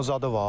Şumu zadı var.